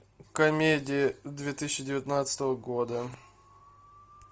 комедии две тысячи девятнадцатого года